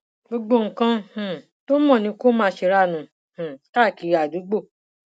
gbogbo nǹkan um tó mọ ni kó máa sérànù um káàkiri àdúgbò